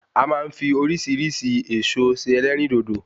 A ma n fi orísirísi Ẹ̀ẹ̀so se Ẹlérìndòdò